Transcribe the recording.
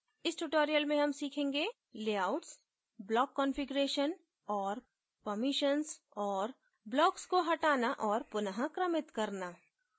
इस tutorial में हम सीखेंगे layouts block configuration और permissions और blocks को हटाना और पुन: क्रमित करना